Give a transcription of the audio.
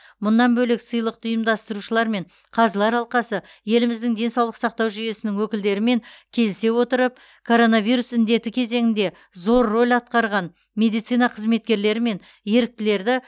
мұнан бөлек сыйлықты ұйымдастырушылар мен қазылар алқасы еліміздің денсаулық сақтау жүйесінің өкілдерімен келісе отырып коронавирус індеті кезеңінде зор рөл атқарған медицина қызметкерлері мен еріктілерді